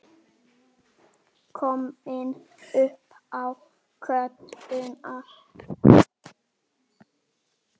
Komin upp á götuna.